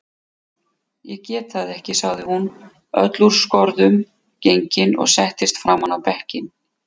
Ég get það ekki, sagði hún öll úr skorðum gengin og settist fram á bekkinn.